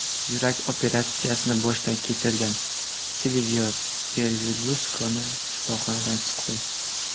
Yurak operatsiyasini boshdan kechirgan Silvio Berluskoni shifoxonadan chiqdi.